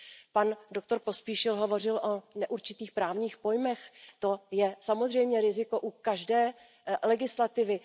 Pan doktor Pospíšil hovořil o neurčitých právních pojmech, to je samozřejmě riziko u každé legislativy.